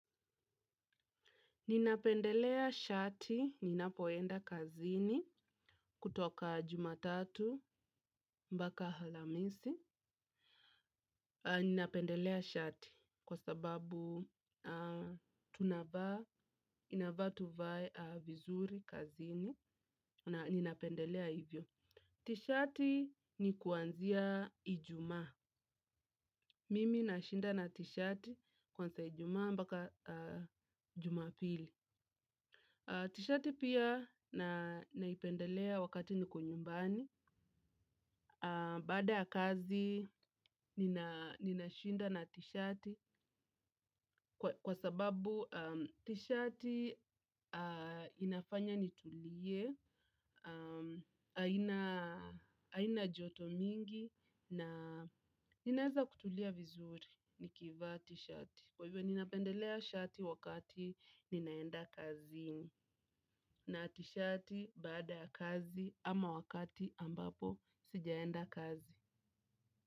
Ninapendelea shati, ninapoenda kazini kutoka jumatatu mbaka alhamisi. Ninapendelea shati kwa sababu tunavaa, inafaa tuvae vizuri kazini. Ninapendelea hivyo. T-shati ni kuanzia ijuma. Mimi na shinda na t-shati kwanzia ijumaa mpaka jumapili. Tishati pia naipendelea wakati niko nyumbani, baada ya kazi nina shinda na tishati kwa sababu tishati inafanya nitulie, haina joto mingi na ninaweza kutulia vizuri nikivaa tshati. Kwa hivyo ninapendelea shati wakati ninaenda kazini. Na tshati baada kazi ama wakati ambapo sijaenda kazi.